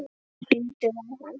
Lítið á hann!